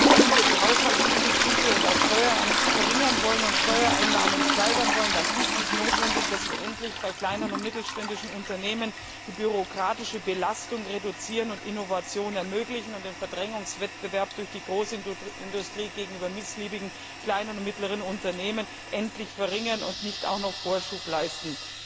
Wenn wir die Haushaltsdefizite und auch Steuern verringern und Steuereinnahmen steigern wollen, dann ist es notwendig, dass wir bei kleinen und mittelständischen Unternehmen die bürokratische Belastung reduzieren und Innovationen ermöglichen und den Verdrängungswettbewerb durch die Großindustrie gegenüber missliebigen kleinen und mittleren Unternehmen endlich verringern und dem nicht auch noch Vorschub leisten.